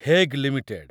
Hague limited